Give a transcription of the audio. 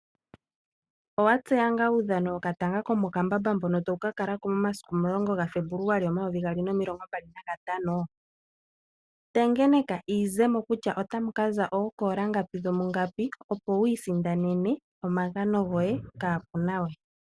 Owa tseya ngaa uudhano wokatanga komokambamba mbono tawu ka kala ko momasiku omulongo gaFebuluali omayovi gaali nomilongo mbali nagatano? Tengeneka iizemo kutya otamu ka za ookoola ngapi dhomungapi, opo wiisindanene omagano goye kaaku na we.